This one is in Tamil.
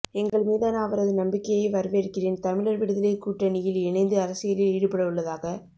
எங்கள் மீதான அவரது நம்பிக்கையை வரவேற்கிறேன்தமிழர் விடுதலைக்கூட்ட ணியில் இணைந்து அரசியலில் ஈடுபடவுள்ளதாக